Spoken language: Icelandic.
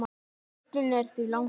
Listinn er því langur.